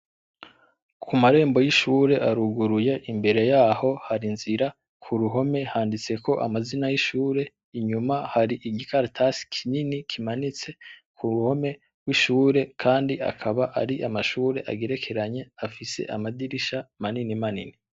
Ku marembo y'ishuri aruguruye imbereye yaho hari inzira, Ku ruhome handitseko amazina y'ishuri, Inyuma yaho hari igikaratasi kinini kimanitse ku mpome rwishuri kandi akaba ari amashuri agerekeranye afise amadirisha manini manini.